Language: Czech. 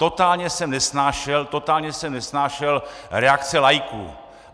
Totálně jsem nesnášel, totálně jsem nesnášel reakce laiků!